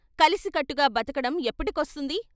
కలిసికట్టుగా బత కడం ఎప్పటికొస్తుంది?